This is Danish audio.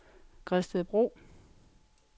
Gredstedbro